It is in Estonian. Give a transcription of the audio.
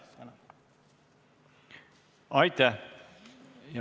Aitäh!